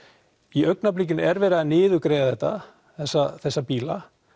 í augnablikinu er verið að niðurgreiða þetta þessa þessa bíla